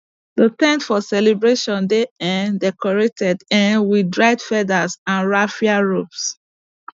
the ten t for celebration dey um decorated um with dried feathers and raffia ropes